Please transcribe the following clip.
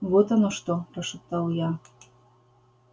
вот оно что прошептал я